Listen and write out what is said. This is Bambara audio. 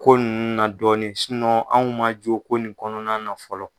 Ko nunnu na dɔɔni anw ma jo ko nin kɔnɔna na fɔlɔ.